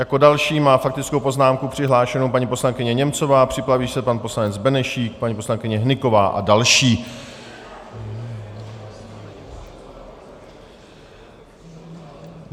Jako další má faktickou poznámku přihlášenu paní poslankyně Němcová, připraví se pan poslanec Benešík, paní poslankyně Hnyková a další.